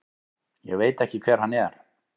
Ég veit ekki hver hann er.